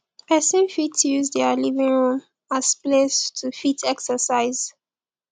person fit use their living room as place to fit exercise